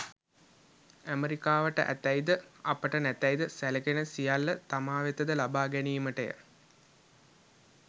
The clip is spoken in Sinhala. ඇමරිකාවට ඇතැයි ද අපට නැතැයි ද සැලකෙන සියල්ල තමා වෙත ද ලබා ගැනීමට ය.